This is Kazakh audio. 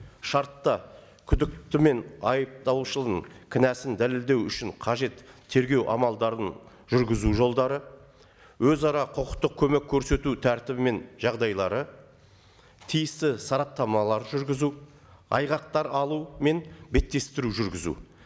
шартта күдікті мен айыптаушының кінәсін дәлелдеу үшін қажет тергеу амалдарын жүргізу жолдары өзара құқықтық көмек көрсету тәртібі мен жағдайлары тиісті сараптамалар жүргізу айғақтар алу мен беттестіру жүргізу